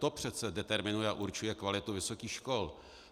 To přece determinuje a určuje kvalitu vysokých škol.